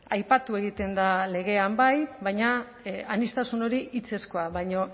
aipatu egiten da legean bai baina aniztasun hori hitzezkoa baino